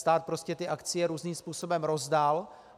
Stát prostě ty akcie různým způsobem rozdal.